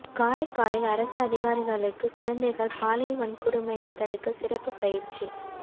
காரைக்காலில் அரசு அதிகாரிகளுக்கு குழந்தைகள் பாலியல் வன்கொடுமையை தடுக்க சிறப்பு பயிற்சி